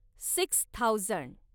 six thousand